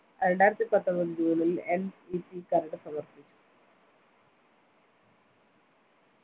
രണ്ടായിരത്തിപത്തൊമ്പത് june ൽ NEP കരട് സമർപ്പിച്ചു